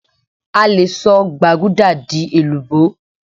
a lè sọ gbaguda di èlùbó